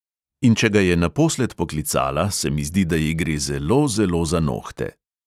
In če ga je naposled poklicala, se mi zdi, da ji gre zelo, zelo za nohte.